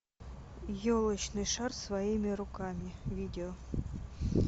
елочный шар своими руками видео